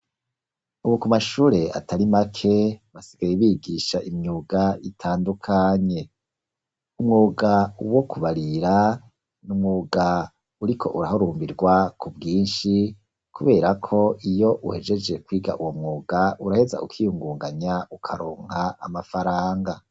Ubu ku mashure atari make basigaye bigisha imyuga itandukanye, umwuga wo kubarira n'umwuga uriko urahurumbirwa ku bwinshi kubera ko iyo uhejeje kwiga uwo mwuga uraheza ukiyungunganya ukaronka amafaranga